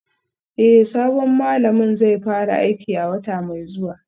Eh sabon malamin zai fara aiki a wata mai zuwa